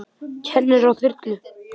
Kemurðu á þyrlu?